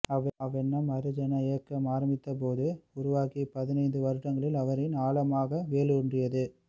அவ்வெண்ணம் ஹரிஜன இயக்கம் ஆரம்பித்தபோது உருவாகி பதினைந்து வருடங்கலில் அவரில் ஆழமாக வேரூன்றியது